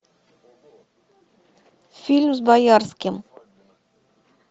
фильм с боярским